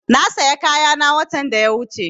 Na saya kayana watan da ya wuche